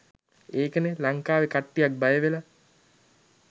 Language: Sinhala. ඒකනේ ලංකාවේ කට්ටියක් බය වෙලා